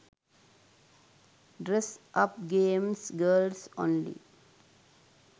dress up games girls only